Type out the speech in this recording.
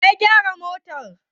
Wa ya gyara motar?